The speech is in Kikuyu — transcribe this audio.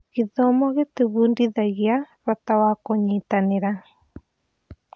Gĩthomo gĩtũbundithagia bata wa kũnyitanĩra.